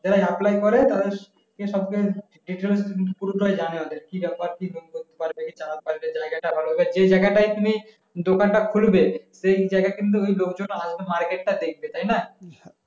যারা apply করে তারা কে সবকে details পুরোটাই জানে ওদের কি বাপের করতে পারবে না পারবে চালাতে পারবে জায়গাটা ভালো হবে যে জায়গাটায় তুমি দোকানটা খুলবে সেই জায়গা কিন্তু ওই লোকজন আসবে market টা দেখতে তাই না